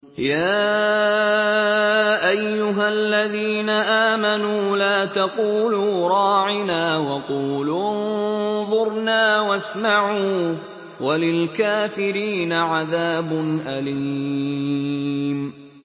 يَا أَيُّهَا الَّذِينَ آمَنُوا لَا تَقُولُوا رَاعِنَا وَقُولُوا انظُرْنَا وَاسْمَعُوا ۗ وَلِلْكَافِرِينَ عَذَابٌ أَلِيمٌ